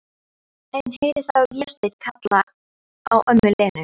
En heyri þá Véstein kalla á ömmu Lenu.